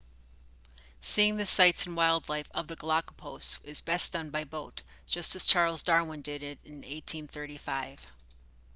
seeing the sites and wildlife of the galapagos is best done by boat just as charles darwin did it in 1835